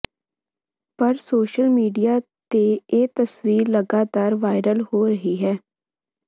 ਪਰ social media ਤੇ ਇਹ ਤਸਵੀਰ ਲਗਾਤਾਰ ਵਾਇਰਲ ਹੋ ਰਹੀ ਹੈ